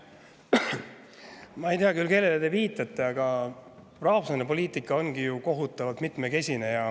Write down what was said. Ma ei tea küll, kellele te viitate, aga rahvusvaheline poliitika ongi ju kohutavalt mitmekesine.